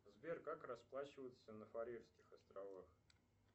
сбер как расплачиваться на фарерских островах